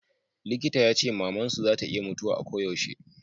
likita ya ce maman su za ta iya mutuwa a ko yaushe